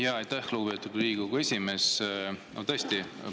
Aitäh, lugupeetud Riigikogu esimees!